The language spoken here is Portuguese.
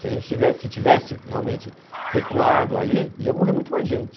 Se a gente tivesse tivesse realmente recuado ali, ia morrer muito mais gente.